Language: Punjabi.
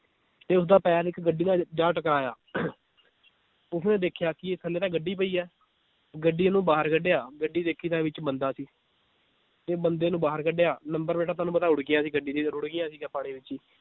ਤੇ ਉਸਦਾ ਪੈਰ ਇੱਕ ਗੱਡੀ ਨਾਲ ਜਾ ਟਕਰਾਇਆ ਉਸਨੇ ਦੇਖਿਆ ਕਿ ਥੱਲੇ ਤਾਂ ਗੱਡੀ ਪਈ ਹੈ ਗੱਡੀ ਨੂੰ ਬਾਹਰ ਕਢਿਆ ਗੱਡੀ ਦੇਖੀ ਤਾਂ ਵਿਚ ਬੰਦਾ ਸੀ ਤੇ ਬੰਦੇ ਨੂੰ ਬਾਹਰ ਕਢਿਆ number ਪਲੇਟਾਂ ਤੁਹਾਨੂੰ ਪਤਾ ਰੁੜ੍ਹ ਗਿਆ ਸੀ ਗੱਡੀ ਜਦੋਂ ਰੁੜ੍ਹ ਗਿਆ ਸੀਗਾ ਪਾਣੀ ਵਿਚ ਈ